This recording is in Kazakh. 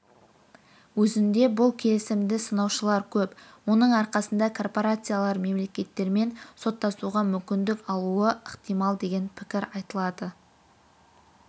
өзінде бұл келісімді сынаушылар көп оның арқасында корпорациялар мемлекеттермен соттасуға мүмкіндік алуы ықтимал деген пікір айтылады